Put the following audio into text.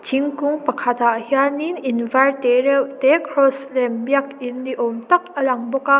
thingkung pakhat ah hianin in car tereuhte cross lem biakin ni awm tak a lang bawk a.